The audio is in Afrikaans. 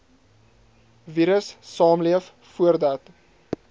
virus saamleef voordat